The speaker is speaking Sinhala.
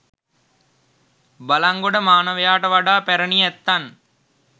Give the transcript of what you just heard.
බළංගොඩ මානවයාට වඩා පැරැණි ඇත්තන්